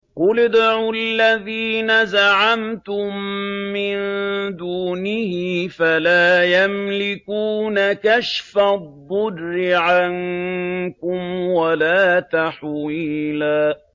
قُلِ ادْعُوا الَّذِينَ زَعَمْتُم مِّن دُونِهِ فَلَا يَمْلِكُونَ كَشْفَ الضُّرِّ عَنكُمْ وَلَا تَحْوِيلًا